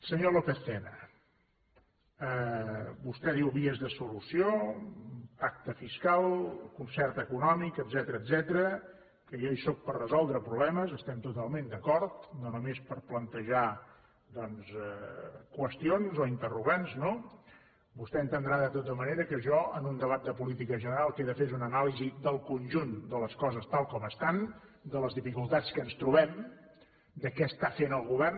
senyor lópez tena vostè diu vies de solució pacte fiscal concert econòmic etcètera que jo hi sóc per resoldre problemes estem totalment d’acord no només per plantejar doncs qüestions o interrogants no vostè entendrà de tota manera que jo en un debat de política general el que he de fer és una anàlisi del conjunt de les coses tal com estan de les dificultats que ens trobem de què està fent el govern